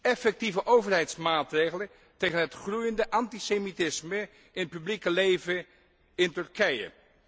Effectieve overheidsmaatregelen tegen het groeiende antisemitisme in het publieke leven in Turkije.